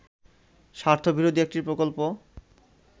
স্বার্থ বিরোধী একটি প্রকল্প